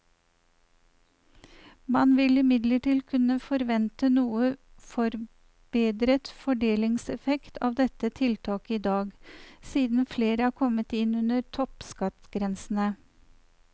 Man vil imidlertid kunne forvente noe forbedret fordelingseffekt av dette tiltaket i dag, siden flere er kommet inn under toppskattgrensene.